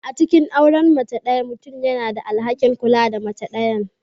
A cikin auren mace ɗaya, mutum yana da alhakin kula da mace ɗayan.